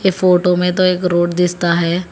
Photo में तो एक रोड दिसता है।